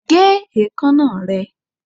Gé ekanna rẹ!